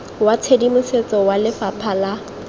wa tshedimosetso wa lefapha la